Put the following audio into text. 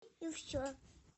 и все